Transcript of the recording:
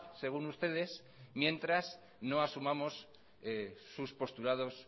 según ustedes mientras no asumamos sus postulados